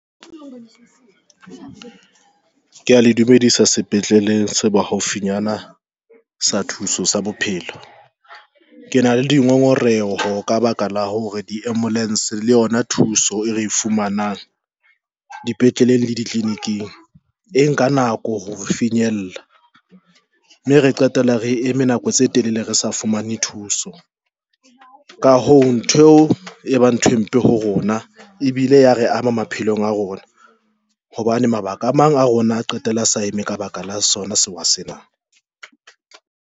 Ke ya le dumedisa sepetleleng se bohaufinyana sa thuso sa bophelo. Ke na le dingongoreho ka baka la hore di ambulance, le yona thuso e re e fumanang dipetleleng le ditleliniking e nka nako ho re finyella, mme re qetela re eme nako tse telele re sa fumane thuso ka hoo ntho e ba ntho empe ho rona ebile ya re ama maphelong a rona hobane mabaka a mang a rona qetella a se a eme ka baka la sona sewa sena.